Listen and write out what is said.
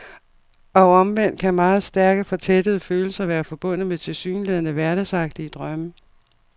Og omvendt kan meget stærke, fortættede følelser være forbundet med tilsyneladende hverdagsagtige drømme.